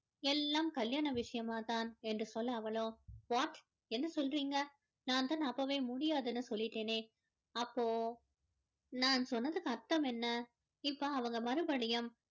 எல்லாம் கல்யாண விஷயமா தான் என்று சொல்ல அவளோ what என்ன சொல்றீங்க நான் தான் அப்போவே முடியாதுன்னு சொல்லிட்டேனே அப்போ நான் சொன்னதுக்கு அர்ததம் என்ன இப்போ அவங்க மறுபடியும்